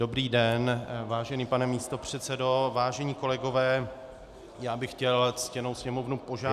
Dobrý den, vážený pane místopředsedo, vážení kolegové, já bych chtěl ctěnou Sněmovnu požádat -